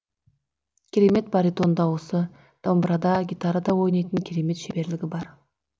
керемет баритон дауысы домбырада гитарада ойнайтын керемет шеберлігі бар